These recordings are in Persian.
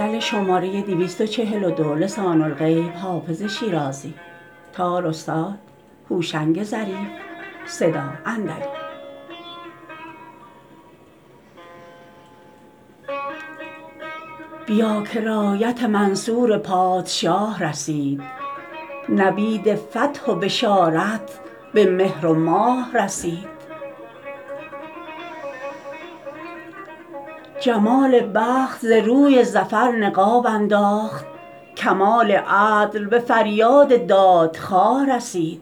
بیا که رایت منصور پادشاه رسید نوید فتح و بشارت به مهر و ماه رسید جمال بخت ز روی ظفر نقاب انداخت کمال عدل به فریاد دادخواه رسید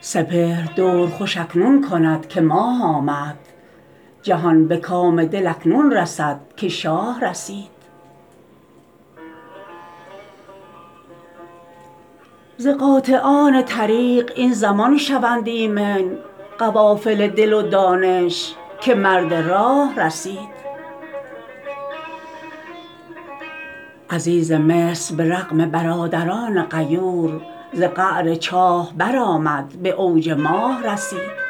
سپهر دور خوش اکنون کند که ماه آمد جهان به کام دل اکنون رسد که شاه رسید ز قاطعان طریق این زمان شوند ایمن قوافل دل و دانش که مرد راه رسید عزیز مصر به رغم برادران غیور ز قعر چاه برآمد به اوج ماه رسید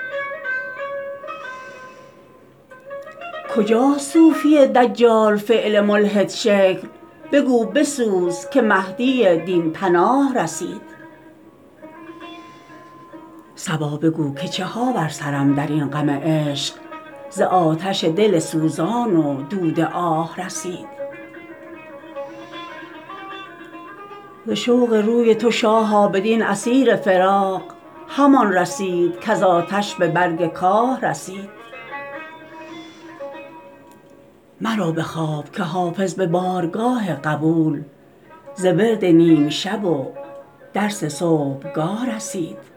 کجاست صوفی دجال فعل ملحدشکل بگو بسوز که مهدی دین پناه رسید صبا بگو که چه ها بر سرم در این غم عشق ز آتش دل سوزان و دود آه رسید ز شوق روی تو شاها بدین اسیر فراق همان رسید کز آتش به برگ کاه رسید مرو به خواب که حافظ به بارگاه قبول ز ورد نیم شب و درس صبحگاه رسید